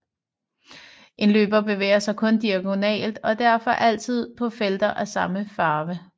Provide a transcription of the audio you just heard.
En løber bevæger sig kun diagonalt og derfor altid på felter af samme farve